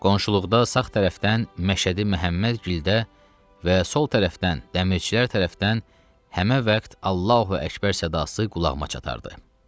Qonşuluqda sağ tərəfdən Məşədi Məhəmmədgildə və sol tərəfdən Dəmirçilər tərəfindən həmin vaxt Allahu Əkbər səsi qulağıma çatardı.